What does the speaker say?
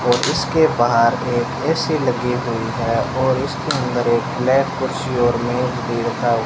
और उसके बाहर एक ए_सी लगी हुई है और उसके अंदर एक ब्लैक कुर्सी और मेज भी रखा --